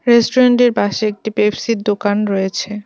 Restaurant -এর পাশে একটা পেপসি -র দোকান রয়েছে।